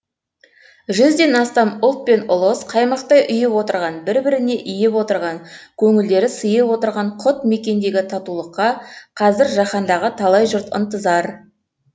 жүзден астам ұлт пен ұлыс қаймақтай ұйып отырған бір біріне иіп отырған көңілдері сыйып отырған құт мекендегі татулыққа қазір жаһандағы талай жұрт ынтазар